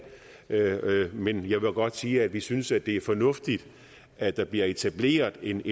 men jeg vil godt sige at vi synes det er fornuftigt at der bliver etableret en